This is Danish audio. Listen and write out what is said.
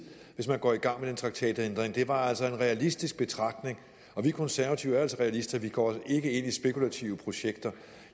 hvis man går i gang med en traktatændring det var altså en realistisk betragtning vi konservative er altså realister vi går ikke ind i spekulative projekter